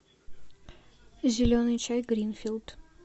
зеленый чай гринфилд